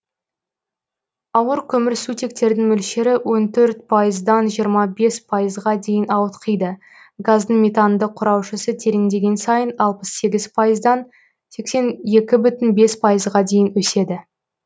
ауыр көмірсутектердің мөлшері он төрт пайыздан жиырма бес пайызға дейін ауытқиды газдың метандық құраушысы тереңдеген сайын алпыс сегіз пайыздан сексен екі пайызға дейін өседі